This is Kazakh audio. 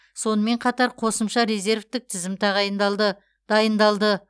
сонымен қатар қосымша резервтік тізім тағайындалды дайындалды